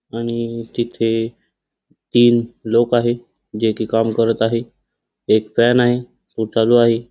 आणि तिथे तीन लोक आहेत. जे की काम करत आहे. एक फॅन आहे. तो चालू आहे.